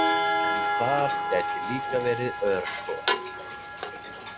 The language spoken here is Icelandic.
En þar gæti líka verið örkot.